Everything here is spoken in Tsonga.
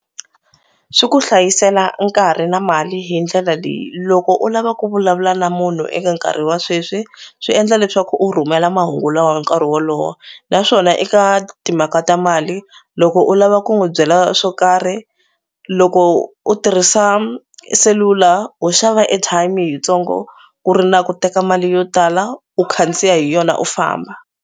Swi ku hlayisela nkarhi na mali hi ndlela leyi loko u lava ku vulavula na munhu eka nkarhi wa sweswi swi endla leswaku u rhumela mahungu lawa hi nkarhi wolowo naswona eka timhaka ta mali loko u lava ku n'wi byela swo karhi loko u tirhisa cellular ho xava airtime yitsongo ku ri na ku teka mali yo tala u khandziya hi yona u famba.